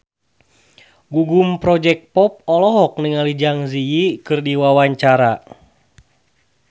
Gugum Project Pop olohok ningali Zang Zi Yi keur diwawancara